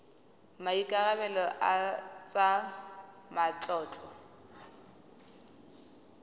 a maikarebelo a tsa matlotlo